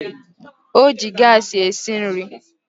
O ji gaasị esi nri